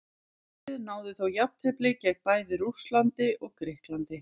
Liðið náði þó jafntefli gegn bæði Rússlandi og Grikklandi.